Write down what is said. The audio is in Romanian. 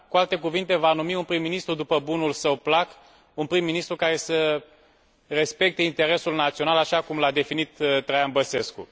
Cu alte cuvinte, va numi un prim ministru după bunul său plac, un prim ministru care să respecte interesul național, așa cum l a definit Traian Băsescu.